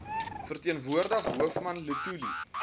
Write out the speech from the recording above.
verteenwoordig hoofman luthuli